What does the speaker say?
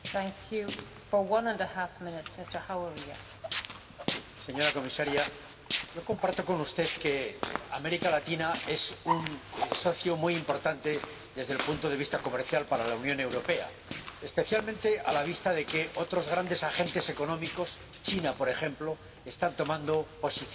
Señora Presidenta, señora Comisaria, yo comparto con usted que América Latina es un socio muy importante desde el punto de vista comercial para la Unión Europea, especialmente a la vista de que otros grandes agentes económicos —China, por ejemplo— están ocupando una posición muy importante allí.